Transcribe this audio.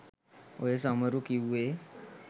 ඔය සමහරු කිව්වේ